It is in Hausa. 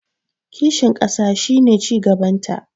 kishin ƙasa shi ne cigabanta